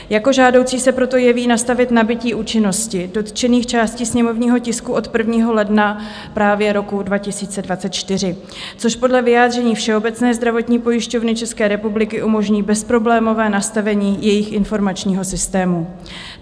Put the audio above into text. Jako žádoucí se proto jeví nastavit nabytí účinnosti dotčených částí sněmovního tisku od 1. ledna právě roku 2024, což podle vyjádření Všeobecné zdravotní pojišťovny České republiky umožní bezproblémové nastavení jejich informačního systému.